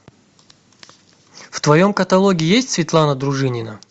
в твоем каталоге есть светлана дружинина